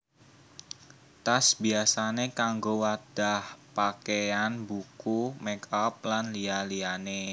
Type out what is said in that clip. Tas biyasané kanggo wadhah pakéyan buku make up lan liya liyané